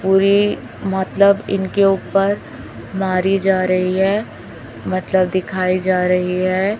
पूरी मतलब इनके ऊपर मारी जा रही है मतलब दिखाई जा रही है।